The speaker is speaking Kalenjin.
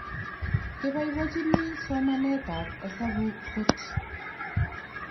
Keboibochini somanetab hesabuk kot"